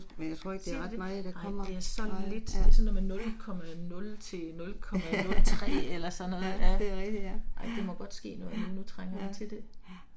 Siger det det. Nej, det er så lidt, sådan noget med 0,0 til 0,03 eller sådan noget ja. Ej det må godt ske noget, nu trænger vi til det